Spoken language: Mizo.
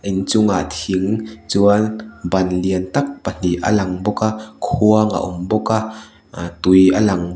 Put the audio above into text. inchungah thing chuan ban lian tak pahnih a lang bawk a khuang a awm bawk a ah tui a lang bawk--